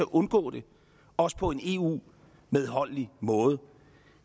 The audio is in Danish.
undgå det også på en eu medholdelig måde